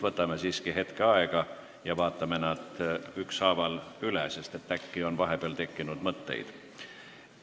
Võtame siiski hetke aega ja vaatame need ükshaaval üle – äkki on vahepeal mõtteid tekkinud.